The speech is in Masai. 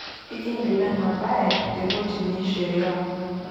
Ekiindip ena baye te kotini e sheria.